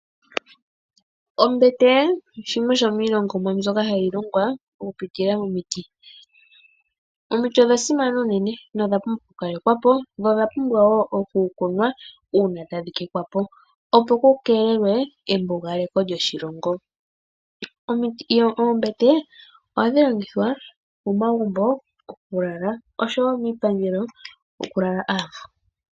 Ombete shimwe shomiilongomwa mbyoka hayi longwa okupitila momiti. Omiti odha simana unene nodha pumbwa okukalekwa po nodha pumbwa wo okukunwa uuna tadhi tetwa po, opo ku keelelwe embugaleko lyoshilongo. Oombete ohadhi longithwa momagumbo okulala oshowo miipangelo okulala aavu.